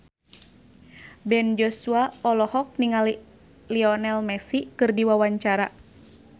Ben Joshua olohok ningali Lionel Messi keur diwawancara